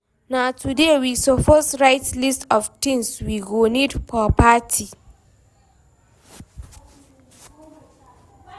Na today we suppose write list of things we go need for party.